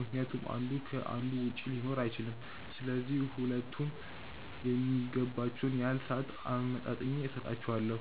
ምክንያቱም አንዱ ከ አንዱ ውጪ ሊኖር አይችልም፤ ስለዚህ ሁለቱም የሚገባቸውን ያህል ሰአት አመጣጥኜ ሰጣቸዋለው።